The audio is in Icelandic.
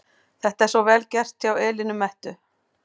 Þetta er svo VEL GERT hjá Elínu Mettu!